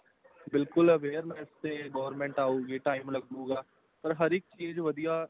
ਬਿਲਕੁਲ awareness ਤੇ government ਆਉਗੀ time ਲੱਗੂਗਾ ਪਰ ਹਰ ਇੱਕ ਚੀਜ਼ ਵਧੀਆ